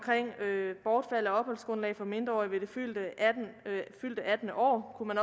bortfald af opholdsgrundlag for mindreårige ved det fyldte attende år kunne man